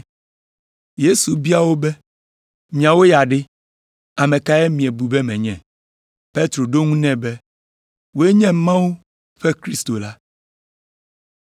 Yesu bia wo be “Miawo ya ɖe, ame kae miebu be menye?” Petro ɖo eŋu nɛ be, “Wòe nye Mawu ƒe Kristo la!”